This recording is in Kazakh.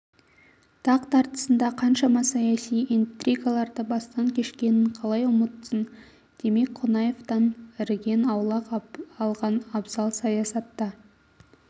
тақ тартысында қаншама саяси интригаларды бастан кешкенін қалай ұмытсын демек қонаевтан іріген аулақ алған абзал саясатта